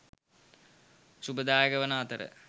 ශුභදායක වන අතර